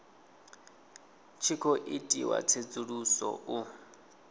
tshi khou itiwa tsedzuluso u